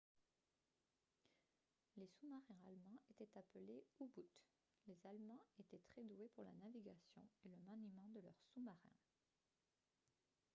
les sous-marins allemands étaient appelés u-boot les allemands étaient très doués pour la navigation et le maniement de leurs sous-marins